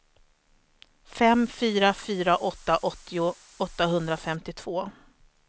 fem fyra fyra åtta åttio åttahundrafemtiotvå